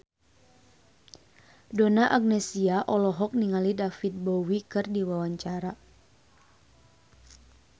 Donna Agnesia olohok ningali David Bowie keur diwawancara